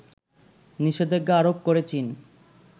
নিষেধাজ্ঞা আরোপ করে চীন